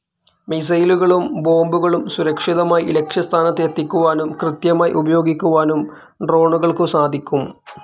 മിസൈലുകളും ബോംബുകളും സുരക്ഷിതമായി ലക്ഷ്യസ്ഥാനത്ത് എത്തിക്കുവാനും, കൃത്യമായി പ്രയോഗിക്കാനും ഡ്രോണുകൾക്കു സാധിക്കും.